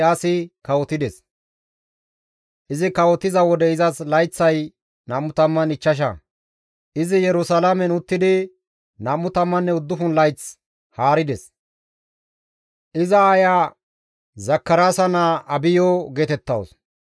Izi kawotiza wode izas layththay 25; izi Yerusalaamen uttidi 29 layth haarides. Iza aayeya Zakaraasa naa Abiyo geetettawus.